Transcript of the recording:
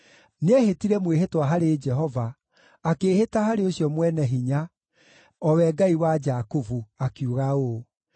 Nĩehĩtire mwĩhĩtwa harĩ Jehova, akĩĩhĩta harĩ ũcio Mwene-Hinya, o we Ngai wa Jakubu, akiuga ũũ: